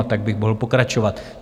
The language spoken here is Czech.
A tak bych mohl pokračovat.